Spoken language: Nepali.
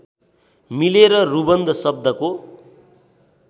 मिलेर रुबन्ध शब्दको